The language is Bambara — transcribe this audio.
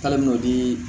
K'ale nɔni